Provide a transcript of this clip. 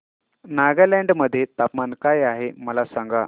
नागालँड मध्ये तापमान काय आहे मला सांगा